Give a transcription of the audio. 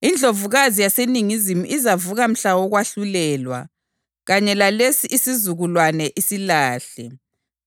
INdlovukazi yaseNingizimu izavuka mhla wokwahlulelwa kanye lalesi isizukulwane isilahle;